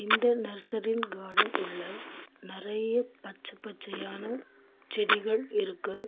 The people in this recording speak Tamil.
இங்க நர்சரின் கார்டன் உள்ள நெறைய பச்ச பச்சயான செடிகள் இருக்கு.